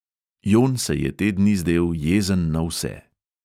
Jon se je te dni zdel jezen na vse.